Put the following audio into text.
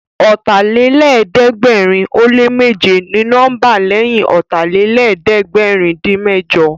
Ọ̀tàlélẹ̀ẹ́dẹ́gbẹ̀rin ó lé méje ni nọ́mbà lẹ́yìn Ọ̀tàlélẹ̀ẹ́dẹ́gbẹ̀rin-dín-mẹ́jọ